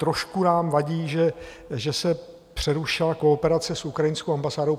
Trošku nám vadí, že se přerušila kooperace s ukrajinskou ambasádou.